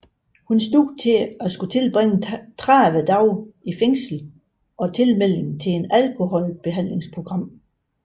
Hun stod til at skulle tilbringe 30 dage i fængsel og tilmelding til et alkoholbehandlingsprogram